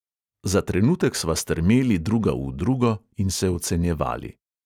Za trenutek sva strmeli druga v drugo in se ocenjevali.